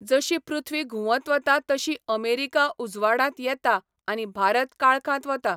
जशी पृथ्वी घुंवत वता तशी अमेरिका उजवाडांत येता आनी भारत काळखांत वता.